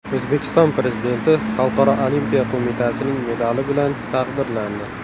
O‘zbekiston Prezidenti Xalqaro olimpiya qo‘mitasining medali bilan taqdirlandi.